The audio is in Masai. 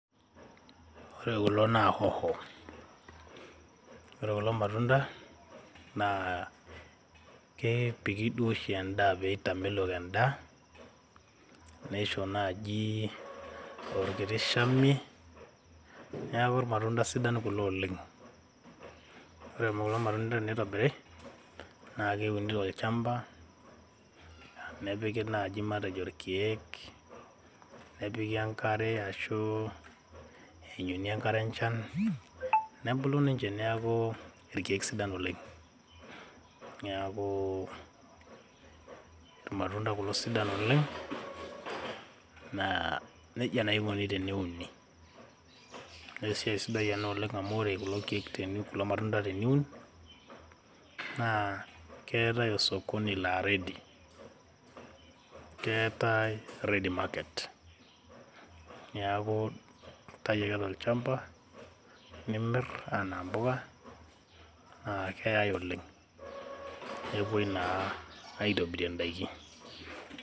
ore kulo naa hoho ore kulo matunda naa kepik duo oshi endaa pee etamelok endaa, neisho naaji orkiti shamie, neaku irmatunda sidan kulo oleng'. ore kulo matunda teneitobiri naa keuni tolchamba, nepiki naaji matejo irkeek nepiki enkare ashuu eyanyuni enkare enchan, nebulu ninche neaku irkeek sidan oleng'. neaku irmatunda kulo sidan oleng' naa nejia naa enkoni teneuni. naa esiai sidai ena oleng amu ore kulo matunda teniun naa keetae osokoni laa ready. keetae ready market neaku intayu ake tolchamba nimir anaa impuka naa keyae oleng' nepuoi naa itobirie indaiki.